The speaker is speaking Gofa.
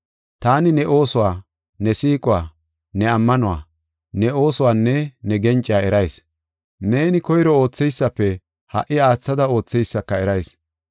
Taani ne oosuwa, ne siiquwa, ne ammanuwa, ne oosuwanne ne gencaa erayis. Neeni koyro ootheysafe ha77i aathada ootheysaka erayis.